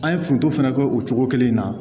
An ye foronto fɛnɛ kɛ o cogo kelen in na